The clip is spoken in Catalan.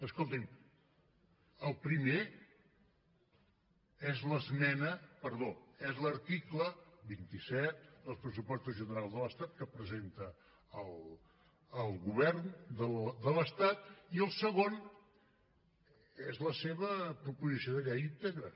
escolti’m el primer és l’article vint set dels pressupostos generals de l’estat que presenta el govern de l’estat i el segon és la seva proposició de llei íntegra